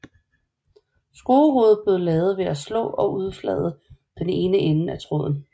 Skruehovedet blev lavet ved at slå og udflade den ene ende af tråden